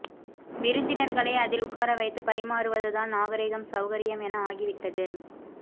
விருந்தினர் களை அதில் உட்காரவைத்து பரிமாறுவதுதான் நாகரீகம் சௌகரியம் என ஆகிவிட்டது